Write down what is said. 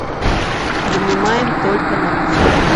принимаем только наличные